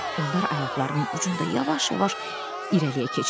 Onlar ayaqlarının ucunda yavaş-yavaş irəliyə keçdilər.